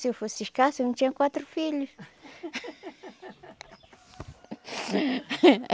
Se eu fosse escassa, eu não tinha quatro filhos.